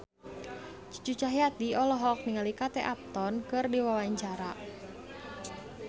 Cucu Cahyati olohok ningali Kate Upton keur diwawancara